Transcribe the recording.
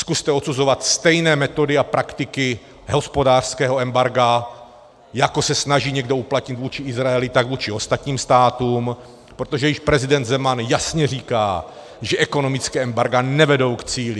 Zkuste odsuzovat stejné metody a praktiky hospodářského embarga, jako se snaží někdo uplatnit vůči Izraeli, tak vůči ostatním státům, protože již prezident Zeman jasně říká, že ekonomická embarga nevedou k cíli.